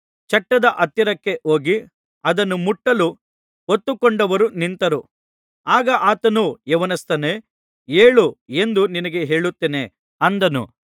ಚಟ್ಟದ ಹತ್ತಿರಕ್ಕೆ ಹೋಗಿ ಅದನ್ನು ಮುಟ್ಟಲು ಹೊತ್ತುಕೊಂಡವರು ನಿಂತರು ಆಗ ಆತನು ಯೌವನಸ್ಥನೇ ಏಳು ಎಂದು ನಿನಗೆ ಹೇಳುತ್ತೇನೆ ಅಂದನು